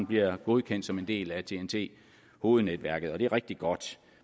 bliver godkendt som en del af ten t hovednetværket og det er rigtig godt